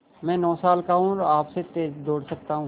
मैं नौ साल का हूँ और आपसे तेज़ दौड़ सकता हूँ